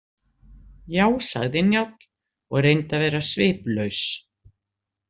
Já, sagði Njáll og reyndi að vera sviplaus.